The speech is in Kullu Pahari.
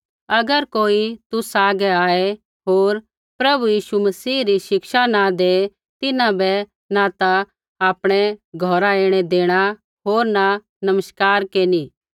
अगर कोई तुसा हागै आऐ होर प्रभु यीशु मसीह री शिक्षा न दै तिन्हां बै न ता आपणै घौरा ऐणै देणा होर न नमस्कार केरनी